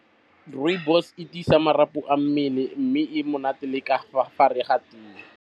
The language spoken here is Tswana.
Rooibos e tiisa marapo a mmele mme e monate le ka fa gare ga tee.